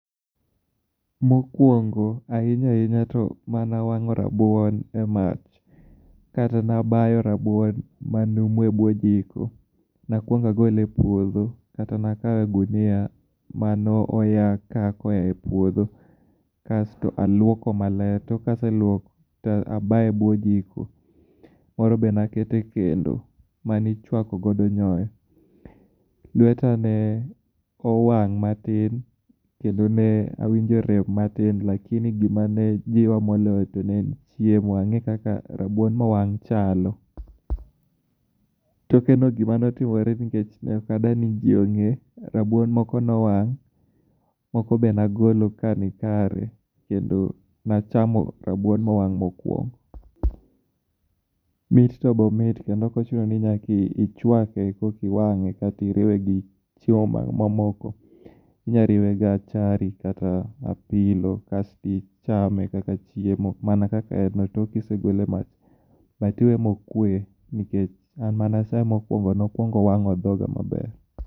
Mokwongo ahinya ahinya to manawang'o rabuon e mach kata nabayo rabuon manumu e bwo jiko, nakwongo agole e puodho kata nagole e gunia manooya kako e puodho kasto aluoko maler, tok kaseluoko ta abayo e buo jiko. Moro be nakete kendo manichwakogodo nyoyo. Lweta ne owang' matin kendo ne awinjo rem matin lakini gima ne jiwa moloyo to ne en chiemo, ang'e kaka rabuon mowang' chalo. Tokeno gima notimore nikech ne ok adwa ni ji ong'e, rabuon moko nowang', moko bed nagolo ka ni kare kendo nachamo rabuon mowang' mokwongo. Mit to be omit kendo ok ochuno ni nyakiichwake, kokiwang'e kata iriwe gi chiemo mamoko. Inyariwe gachari kata apilo kasto ichame kaka chiemo mana kaka en tok kisegole e mach, but iweye mokwe nikech an manachame mokwongo nokwongo owang'o dhoga maber.